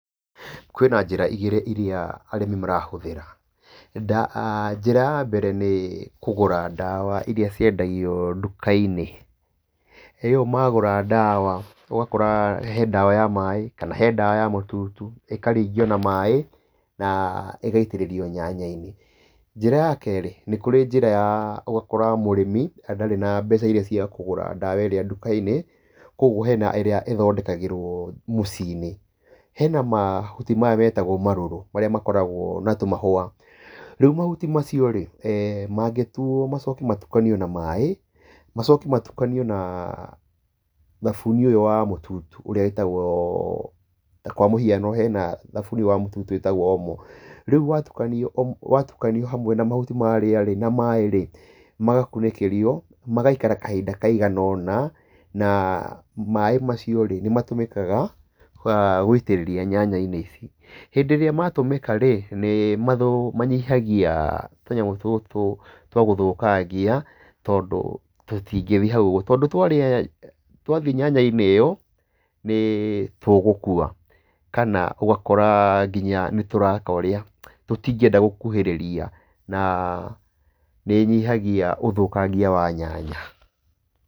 Kwĩna njĩra igĩrĩ irĩa arĩmi marahũthĩra. Njĩra ya mbere nĩ kũgũra ndawa irĩa ciendagio nduka-inĩ, ĩyo magũra ndawa ũgakora he ndawa ya maĩ kana he ndawa ya mũtutu ĩkaringio na maĩ na ĩgaitĩrĩrio nyanya-inĩ. Njĩra ya kerĩ, nĩ kũrĩ njĩra ya, ũgakora mũrĩmi ndarĩ na mbeca irĩa cia kũgũra ndawa ĩrĩa nduka-inĩ, koguo hena ĩrĩa ĩthondekagĩrwo mũciĩ-inĩ. Hena mahuti maya metagwo marũrũ, marĩa makoragwo na tũmahũa. Rĩu mahuti macio rĩ, mangĩtuo macoke matukanio na maĩ, macoke matukanio na thabuni ũyũ wa mũtutu ũrĩa wĩtagwo ta kwa mũhiano hena thabuni wa mũtutu ũrĩa wĩtagwo Omo. Rĩa watukanio hamwe na mahuti marĩa rĩ na maĩ rĩ, magakunĩkĩrio magaikara kahinda kaigana ũna. Na maĩ macio rĩ, nĩ matũmĩkaga gũitĩrĩria nyanya-inĩ ici. Hĩndĩ ĩrĩa matũmĩka rĩ nĩ manyihagia tũnyamũ tũtũ twa gũthũkangia tondũ tũtingĩthiĩ hau ũguo, tondũ twathiĩ nyanya-inĩ ĩyo nĩ tũgũkua, kana ũgakora nginya nĩ tũreka ũrĩa, tũtingĩenda gũkuhĩrĩria. Na nĩ ĩnyihagia ũthũkagia wa nyanya.